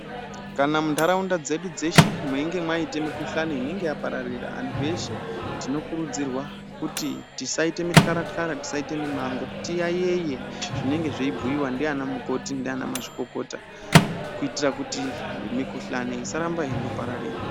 Kana muntaraunda dzeshe mweinge mwaite mikuhlani inenge yapararira antu eshe tinokurudzirwa kuti tisaite mitaratara tisaite mimango tiyaiyeye zvinenge zveibhuyiwa ndiana mukoti ndiana mazvikokota kuitira kuti mikuhlani isaramba yeindopararira.